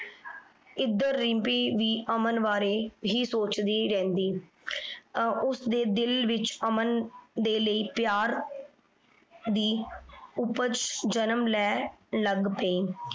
ਏਧਰ ਰਿਮ੍ਪੀ ਵੀ ਅਮਨ ਬਾਰੇ ਇਹੀ ਸੋਚਦੀ ਰਿਹੰਦੀ। ਅਰ ਓਸਦੀ ਦਿਲ ਵਿਚ ਅਮਨ ਦੇ ਲੈ ਪਯਾਰ ਦੀ ਉਪਜ ਜਨਮ ਲੈਣ ਲਗ ਪੈ।